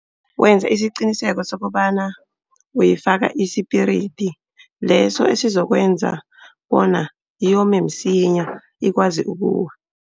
Wenze isiqiniseko sokobana uyifaka isipiridi leso esizokwenza bona yome msinya ikwazi ukuwa.